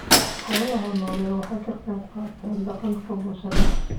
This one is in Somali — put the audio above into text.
Xoolaha nooli waxa ay ka qayb qaataan dhaqanka bulshada.